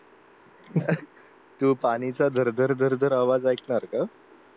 तू पाणीचा झरझर झरझर आवाज ऐकणार का?